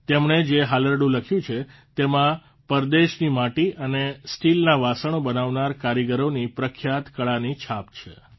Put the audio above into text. તેમણે જે હાલરડું લખ્યું છે તેમાં પ્રદેશની માટી અને સ્ટીલના વાસણો બનાવનાર કારીગરોની પ્રખ્યાત કળાની છાપ છે